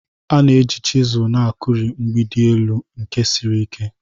A na-eji chiselu na-akuri mgbidi elu nke siri ike